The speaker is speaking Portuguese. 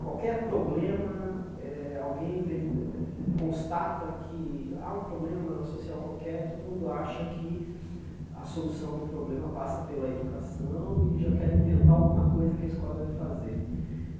qualquer problema, eh alguém veri constata que há um problema social qualquer, todo mundo acha que a solução do problema passa pela educação e já quer inventar alguma coisa que a escola deve fazer.